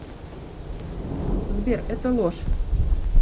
сбер это ложь